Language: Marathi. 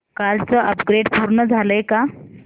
कालचं अपग्रेड पूर्ण झालंय का